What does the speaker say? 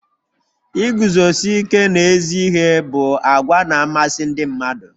Iguzosi ike n'ezi ihe bụ àgwà na-amasị ndị mmadụ.